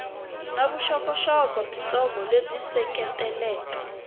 na vuxokoxoko byitsongo lebyi seketelaka